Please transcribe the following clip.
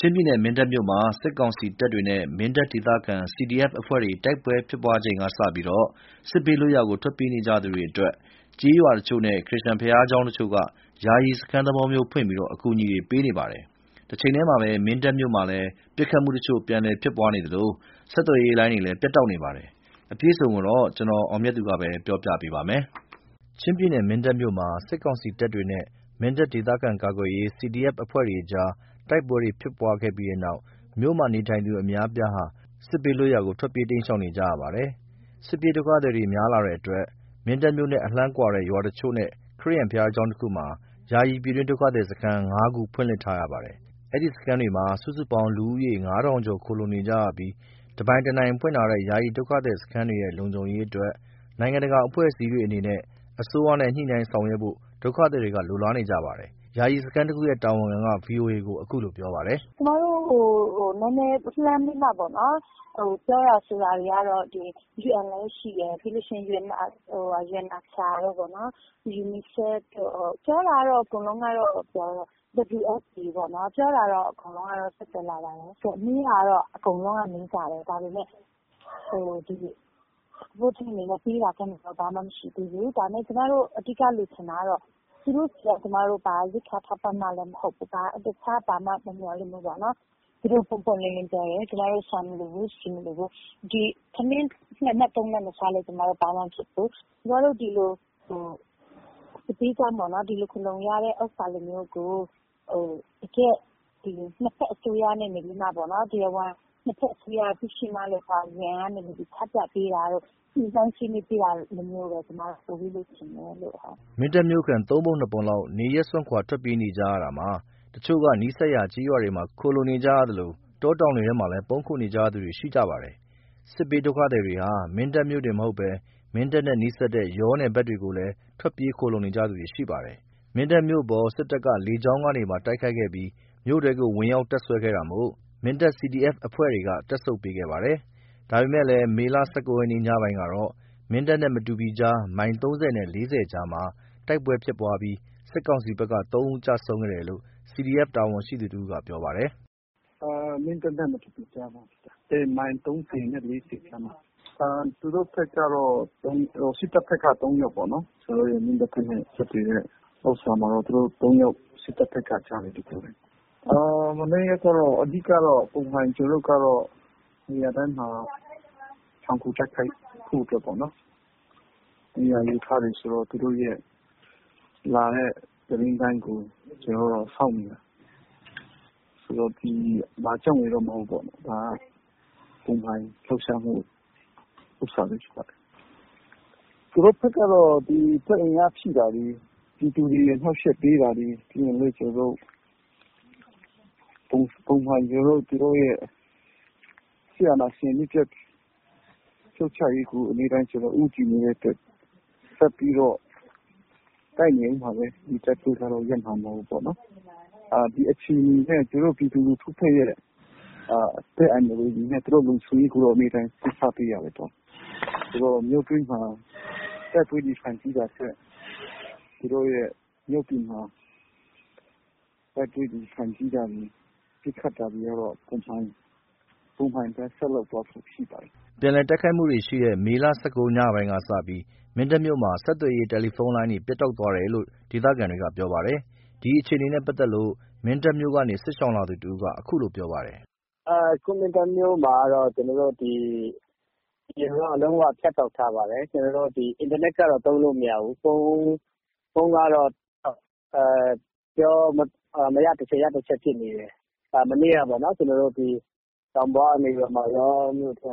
ချင်းပြည်နယ် မင်းတပ်မြို့မှာ စစ်ကောင်စီတပ်တွေနဲ့ မင်းတပ်ဒေသခံ CDF အဖွဲ့တွေ တိုက်ပွဲဖြစ်ပွားတဲ့အချိန်ကစပြီး စစ်ဘေးလွတ်ရာကို ထွက်ပြေးနေကြသူတွေအတွက် ကျေးရွာတချို့နဲ့ ခရစ်ယာန်ဘုရားကျောင်းတချို့က ယာယီစခန်းသဘောမျိုးဖွင့်ပြီး ကူညီပေးနေပါတယ်။ တချိန်ထဲမှာပဲ မင်းတပ်မြို့မှာ ပစ်ခတ်မှုတချို့ပြန်ဖြစ်နေသလို၊ ဆက်သွယ်ရေးလိုင်းတွေ ပြတ်တောက်နေပါတယ်။ ဒီအကြောင်းအပြည့်အစုံ ရန်ကုန်ကလာတဲ့ သတင်းကို ကိုအောင်မြတ်သူက ပြောပြပေးပါမယ်။ ချင်းပြည်နယ်၊ မင်းတပ်မြို့မှာ စစ်ကောင်စီတပ်တွေနဲ့ မင်းတပ်ဒေသခံကာကွယ်ရေး CDF အဖွဲ့တွေကြား တိုက်ပွဲတွေဖြစ်ပွားခဲ့ပြီးတဲ့နောက် မြို့မှာနေထိုင်သူ အများအပြားဟာ စစ်ဘေးလွတ်ရာကို ထွက်ပြေး တိမ်းရှောင်နေကြရပါတယ်။ စစ်ပြေးဒုက္ခသည်တွေ များလာတဲ့ အတွက် မင်းတပ် မြို့နဲ့အလှမ်းဝေးတဲ့ ရွာတချို့နဲ့ ခရစ်ယာန် ဘုရားကျောင်း တခုမှာ ယာယီ ပြည်တွင်းဒုက္ခသည်စခန်း ၅ ခု ဖွင့်လှစ်ထားရပါတယ်။ အဲဒီစခန်းတွေမှာ စုစုပေါင်း လူဦးရေ ၅ ထောင်ကျော် ခိုလှုံနေရ ပြီး တပိုင်တနိုင် ဖွင့်ထားတဲ့ ယာယီဒုက္ခသည် စခန်းတွေရဲ့ လုံခြုံရေးအတွက် နိုင်ငံတကာ အဖွဲ့အစည်းတွေ အနေနဲ့ အစိုးရနဲ့ ညှိနှိုင်းဆောင်ရွက်ဖို့ ဒုက္ခသည်တွေက လိုလားနေပါတယ်။ ယာယီစခန်းတခုရဲ့ တာဝန်ခံက ဗွီအိုအေကို အခုလို ပြောပါတယ်။ “ကျွန်မတို့ကို နည်းနည်းလှမ်းပြီးတော့မှပေါ့နော် ပြောတာဆိုတာတွေက UN လည်းရှိတယ် ပြောတာကတော့ အကုန်လုံးကတော့ ပြောတယ် WFP လည်းပြောတယ်။ မေးတာက အကုန်လုံးက မေးကြတယ်။ ဒါပေမယ့် အခုထိ ပေးတာကမ်းတာတော့ ဘာမှမရှိသေးဘူး။ ကျွန်မတို့ အဓိက လိုချင်တာကတော့ ဘာာရိက္ခာထောက်ပံ့ မှလည်း မဟုတ်ဘူး သူတို့ကို ပွင့်ပွင့်လင်းလင်းပြောတယ် ကျွန်မတို့ ဆန်မလိုဘူး ဆီမလိုဘူး။ ထမင်း ၂ နပ် ၃ နပ်မစားလို့ ကျွန်မတို့ ဘာမှမဖြစ်ဘူး။ ကျွန်မတို့ စစ်ဘေးကြောင့် ဒီလိုခိုလှုံ နေရတဲ့ ဥစ္စာလိုမျိုးကို တကယ့် ၂ ဖက် အစိုးရကနေပြီးတော့ တရားဝင် ၂ ဖက်သိရှိနားလည်ထားတာကို UN ကနေပြီးတော့ သိရှိနားလည်ပြီး ညှိနှိုင်းပေးတာမျိုးကို လိုချင်တယ်လို့ပေါ့။” မင်းတပ်မြို့ခံ ၃ ပုံ ၂ ပုံလောက် နေရပ်စွန့် ထွက်ပြေးနေကြရတာမှာ တချို့က နီးစပ်ရာ ကျေးရွာတွေမှာ ခိုလှုံနေရသလို တောတောင်တွေထဲမှာ ပုန်းခိုနေကြသူတွေလည်း ရှိနေကြပါတယ်။ စစ်ဘေးဒုက္ခသည်တွေဟာ မင်းတပ်မြို့တင်မဟုတ်ဘဲ မင်းတပ်နဲ့နီးတဲ့ ယောနယ်ဘက်တွေ ကိုလည်း ထွက်ပြေးခိုနေကြသူတွေရှိကြပါတယ်။ မင်းတပ်မြို့အပေါ် စစ်တပ်က လေကြောင်းကနေပါ တိုက်ခိုက်ပြီး မြို့ထဲဝင်ရောက် တပ်စွဲခဲ့တာမို့ မင်းတပ် CDF အဖွဲ့တွေက တပ်ဆုတ်ပေးခဲ့ပါတယ်။ ဒါပေမဲ့ မေ ၁၉ ရက်ညပိုင်းကတော့ မင်းတပ်နဲ့ မတူပီကားလမ်း မိုင် ၃၀ နဲ့ ၄၀ ကြားမှာ တိုက်ပွဲဖြစ်ပွားပြီး စစ်ကောင်စီဘက်က ၃ ဦးကျဆုံးခဲ့တယ်လို့ CDF က တာဝန်ရှိသူ တဦးကပြောပါတယ်။ “မင်းတပ်နဲ့မတူပီကြားမှာ မိုင် ၃၀ နဲ့ ၄၀ ကြားမှာ သူတို့ဘက်က စစ်တပ်ဘက်က ၃ ယောက်ပေါ့နော် မင်းတပ်နဲ့မတူပီဆက်သွယ်တဲ့ကြားမှာ သူတို့ဘက်က ၃ ယောက်ကျတယ်။ အဓိက က ကျွန်တော်တို့က နေရာတိုင်းမှာ ချုံခိုတိုက်ခိုက်ဖို့အတွက်ပေါ့နော် နေရာယူထားတယ်ဆိုတော့ လာတဲ့သူတို့ရဲ့သတင်းတိုင်းကို ကျွန်တော်တို့က စောင့်နေတာ။ ဘာကြောင့်ရယ်တော့မဟုတ်ဘူး ဒါပုံမှန်လှုပ်ရှားမှု ဥစ္စာပဲဖြစ်ပါတယ်။ သူတို့ ဘက်ကတော့ စစ်အင်အားဖြည့်တာတွေ ပြည်သူတွေ အနှောက်ယှက်ပေးတာတွေ ပုံမှန်သူတို့ရဲ့ စစ်အာဏာရှင် အမြစ်ပြတ်ရေးကို ပုံမှန်ဦးတည်နေတဲ့အတွက် ဆက်ပြီးတော့ တိုက်နေအုံးမှာပဲ။ တိုက်ပွဲကတော့ ရပ်မှာမဟုတ်ဘူးပေါ့နော်။ အခြေအနေနဲ့ပြည်သူလူထုရဲ့ အသက်အန္တရာယ်နဲ့ သူတို့ရဲ့လုံခြုံရေးကို အမြဲတမ်း ဦးစားပေးရတယ်ဆိုတော့ မြို့တွင်းမှာ တိုက်ပွဲရင်ဆိုင်တာထက် မြို့ပြင်မှာ တိုက်ပွဲရင်ဆိုင်ဖြစ်တာတွေ ပစ်ခတ်တာတွေက ပုံမှန်အတိုင်း ဆက်လုပ်သွားဖို့ရှိပါတယ်။” ပြန်လည်တိုက်ခိုက်မှုတွေရှိတဲ့ မေ ၁၉ ညပိုင်းကစပြီး မင်းတပ်မြို့မှာ ဆက်သွယ်ရေး တယ်လီဖုန်းလိုင်းတွေ ပြတ်တောက်သွားတယ်လို့ ဒေသခံတွေက ပြောပါတယ်။ ဒီအခြေအနေနဲ့ပတ်သက်လို့ မင်းတပ်မြို့ကနေ စစ်ဘေးရှောင်လာသူ တဦးက အခုလိုပြောပါတယ်။ “အခုမင်းတပ်မြို့မှာက ဆက်သွယ်ရေး လုံးဝဖြတ်တောက်ထားပါတယ်။ အင်တာနက်က လုံးဝသုံးလို့မရပါဘူး။ ဖုန်းကတော့ မရတချက်ရတချက်ဖြစ်နေတယ်။ မနေ့က တောင်ပေါ်ကနေ ယောမြို့ထဲ